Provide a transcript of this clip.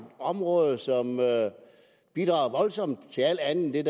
område som bidrager voldsomt til alt andet end